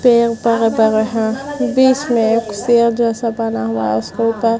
पेड़-पौधा भी है बिच मै एक शेयर मै एक जैसा बना हुआ है उसके उपर--